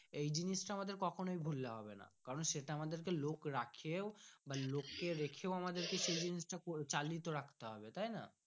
এই জিনিস তা আমাদের কখনো ভুলেলে হবে না কারণ সেটা আমাদের কে লোক রাখিয়ে ইউ বা লোককে রাখে আমদের কে সেই জিনিস টা চালিত রাখতে হবে তাই না।